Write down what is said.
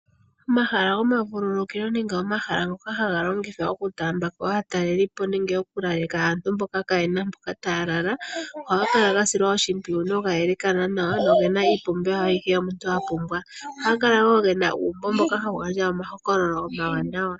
Omahala gomavululukilo nenge omahala ngoka haga longithwa okutaambako aatalelipo nenge okulaleka aantu mboka kayena mpoka taya lala ohaga kala ga silwa oshimpwiyu noga yelekana nawa nogena iipumbiwa ayihe yomuntu a pumbwa. Ohaga kala wo gena uumbo mboka hawu gandja omahokololo omawanawa.